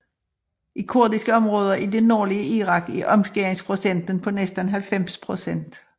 I kurdiske områder i det nordlige Irak er omskæringsprocenten på næsten 90 pct